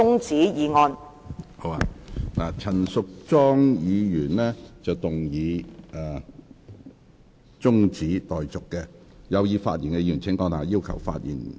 陳淑莊議員動議中止待續議案，有意發言的議員請按下"要求發言"按鈕。